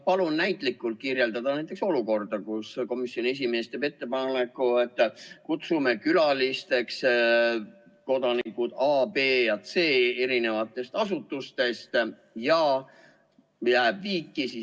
Palun näitlikult kirjeldada näiteks olukorda, kus komisjoni esimees teeb ettepaneku, et kutsume külalisteks kodanikud A, B ja C eri asutustest, ja hääletus jääb viiki.